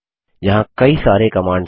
यहाँ कई सारी कमांड्स हैं